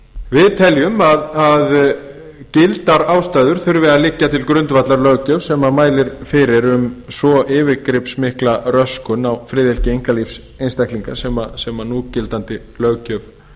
við teljum að gildar ástæður þurfi að liggja til grundvallar löggjöf sem mælir fyrir um svo yfirgripsmikla röskun á friðhelgi einkalífs einstaklinga sem núgildandi löggjöf